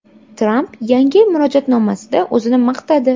Tramp Yangi yil murojaatnomasida o‘zini maqtadi.